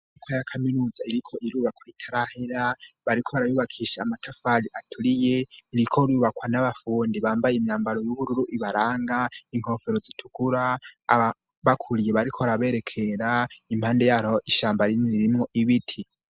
Kuko yakaminuza iriko irubakwa itarahela bariko arayubakisha amatafaji aturiye irikorubakwa n'abafundi bambaye imyambaro y'ubururu ibaranga inkofero zitukura aba bakuriye bariko baraberekera impande yayo ishamba rinini rimwo ibiti.